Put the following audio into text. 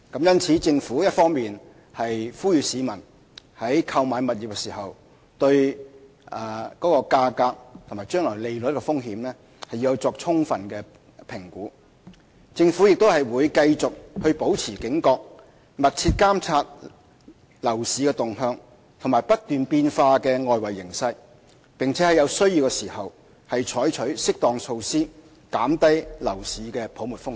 因此，政府一方面呼籲市民在購買物業時要對價格和將來利率的風險作出充分評估，另一方面亦會繼續保持警覺，密切監察樓市動向和不斷變化的外圍形勢，並在有需要時採取適當措施，減低樓市泡沫的風險。